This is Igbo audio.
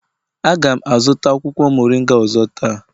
A ga m azụta akwụkwọ moringa ọzọ taa